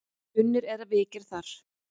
Unnið er að viðgerð þar.